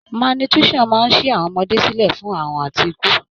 Malnutrition máa ń ṣí àwọn ọmọdé sílẹ̀ fún àrùn àti ikú.